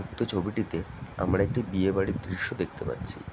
উক্ত ছবিটিতে আমরা একটি বিয়ে বাড়ি দৃশ্য দেখতে পাচ্ছি।